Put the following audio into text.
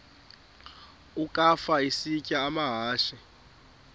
ukafa isitya amahashe